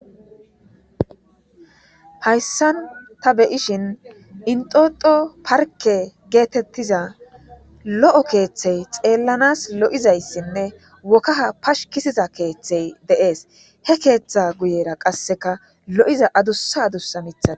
Hayssan ta beyishin enttoto parke getetiza lo'o keththay xellans lo'oizaysinne kah pskisiz keththey de'es he keththa guyera qasekka lo'oiza aaddussa aaddussa miiththatti de'ossonna